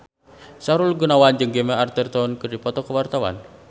Sahrul Gunawan jeung Gemma Arterton keur dipoto ku wartawan